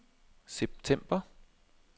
september